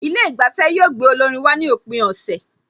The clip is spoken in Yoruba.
Ilé ìgbafẹ́ yóò gbé olórin wá ní òpin ọ̀sẹ̀